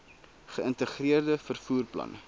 geïntegreerde vervoer plan